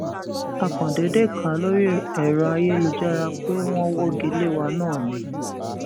a kàn déédé kà á lórí èrò ayélujára pé wọn wọgi lé wa náà ni